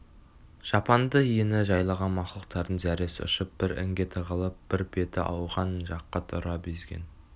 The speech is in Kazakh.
жапанды ені жайлаған мақұлықтардың зәресі ұшып бір інге тығылып бір беті ауған жаққа тұра безген